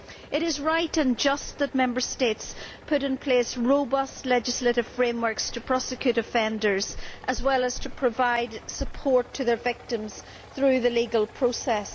It is right and just that Member States put in place robust legislative frameworks to prosecute offenders, as well as providing support to their victims through the legal process.